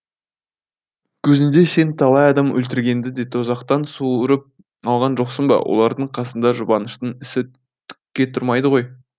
кезінде сен талай адам өлтіргенді де тозақтан суырып алған жоқсын ба олардың қасында жұбаныштың ісі түкке тұрмайды ғой